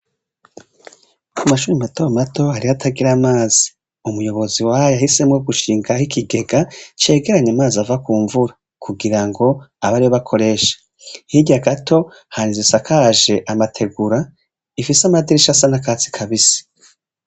Ku mashuri matomato harihoatagira amazi umuyobozi waho yahisemwo gushinga ho ikigega cegeranye amazi ava ku mvura kugira ngo abe ari wo bakoresha nhirya gato hari izisakaje amategura ifise amadirisha sa n'akatsi kabise.